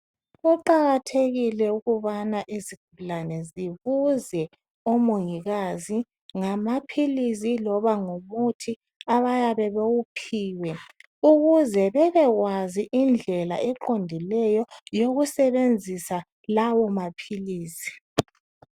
Kuqakathekile ukubana izigulane zibuze omongikazi ngamaphilisi loba ngomuthi abayabe bewuphiwe ukuze bebekwazi indlela eqondileyo yokusebenzisa lawo maphilisi.